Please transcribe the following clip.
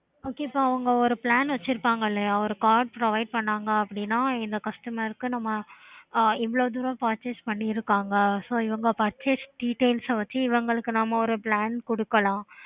okay